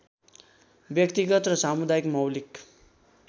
व्यक्तिगत र सामुदायिक मौलिक